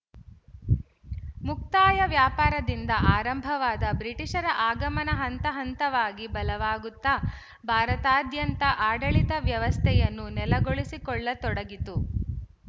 ಮುಕ್ತಾಯ ವ್ಯಾಪಾರದಿಂದ ಆರಂಭವಾದ ಬ್ರಿಟಿಶರ ಆಗಮನ ಹಂತಹಂತವಾಗಿ ಬಲವಾಗುತ್ತಾ ಭಾರತಾದ್ಯಂತ ಆಡಳಿತ ವ್ಯವಸ್ಥೆಯನ್ನು ನೆಲೆಗೊಳಿಸಿಕೊಳ್ಳತೊಡಗಿತು